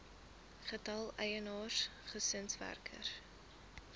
getal eienaars gesinswerkers